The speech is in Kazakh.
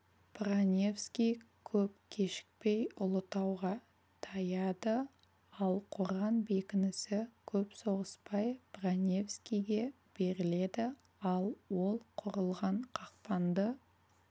броневский көп кешікпей ұлытауға таяйды ал қорған бекінісі көп соғыспай броневскийге беріледі ал ол құрылған қақпанды